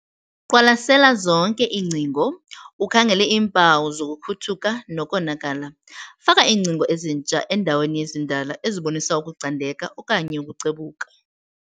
Qwalasela zonke iingcingo ukhangele iimpawu sokukhuthuka nokonakala. Faka iingcingo ezintsha endaweni yezindala ezibonisa ukucandeka okanye ukucebuka.